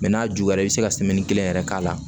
n'a juguyara i bɛ se ka kelen yɛrɛ k'a la